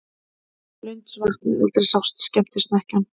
Blundsvatn og aldrei sást skemmtisnekkjan.